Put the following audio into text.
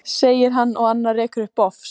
segir hann og annar rekur upp bofs.